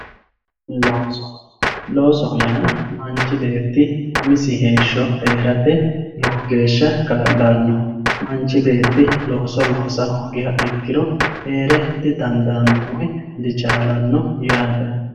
Looso loosoho yaa manchi beeti heerate lowo geesha kaa`lanoho manchi beeti looso loosa hoogiha ikiro heere didandaano woyi dichaalano yaate